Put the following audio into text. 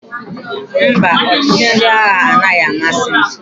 Mba, ọchịchị ndị agha anaghị amasị m.